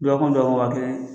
Duwɔkun duwɔkun waa kelen